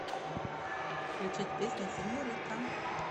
включить песня сеньорита